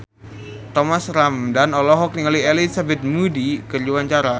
Thomas Ramdhan olohok ningali Elizabeth Moody keur diwawancara